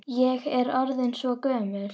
Ég er orðin svo gömul.